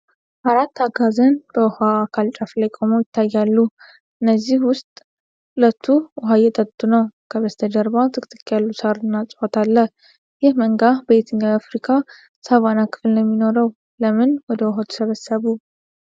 አራት አጋዘን በውሃ አካል ጫፍ ላይ ቆመው ይታያሉ፣ ከእነዚህ ውስጥ ሁለቱ ውሃ እየጠጡ ነው። ከበስተጀርባ ጥቅጥቅ ያሉ ሳር እና እፅዋት አለ። ይህ መንጋ በየትኛው የአፍሪካ ሳቫና ክፍል ነው የሚኖረው? ለምን ወደ ውሃው ተሰበሰቡ?